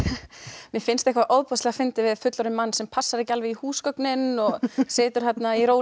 mér finnst eitthvað ofboðslega fyndið við fullorðinn mann sem passar ekki alveg í húsgögnin og situr þarna í